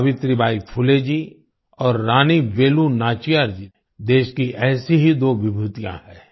सावित्रीबाई फुले जी और रानी वेलु नाचियार जी देश की ऐसी ही दो विभूतियाँ हैं